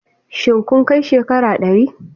Shin kun kai shekara ɗari?